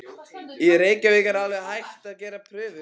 Í Reykjavík er alveg hætt að gera prufur.